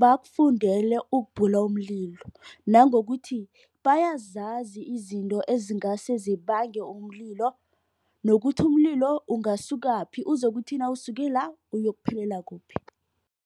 bakufundele ukubhula umlilo. Nangokuthi bayazazi izinto ezingase zibange umlilo. Nokuthi umlilo ungasukaphi uzokuthi nawusuke la uyokuphelela kuphi.